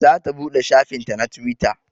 Za ta buɗe shafin ta na twitter